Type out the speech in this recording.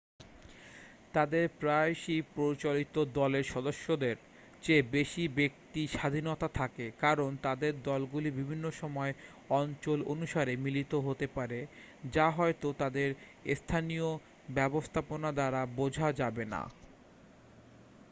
তাদের প্রায়শই প্রচলিত দলের সদস্যদের চেয়ে বেশি ব্যক্তিস্বাধীনতা থাকে কারণ তাদের দলগুলি বিভিন্ন সময় অঞ্চল অনুসারে মিলিত হতে পারে যা হয়তো তাদের স্থানীয় ব্যবস্থাপনা দ্বারা বোঝা যাবেনা